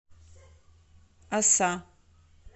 оса